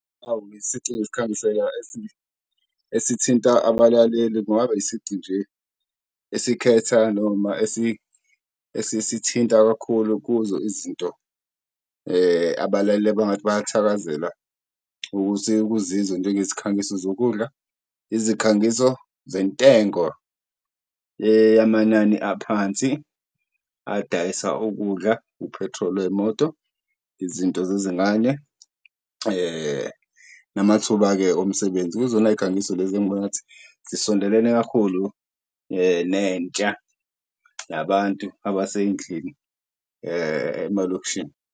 Isici esikhangiseka esithinta abalaleli kungaba isici nje esikhetha noma esisithinta kakhulu kuzo izinto abalaleli abangathi bayathakazela ukuzizwa. Njengezikhangiso zokudla, izikhangiso zentengo eyamanani aphansi adayisa ukudla, uphethroli wey'moto, izinto zezingane, namathuba-ke omsebenzi. Kuzonayikhangiso lezi engibona ngathi zisondelane kakhulu nentsha nabantu abasey'ndlini emalokishini.